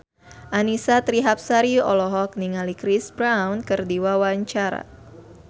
Annisa Trihapsari olohok ningali Chris Brown keur diwawancara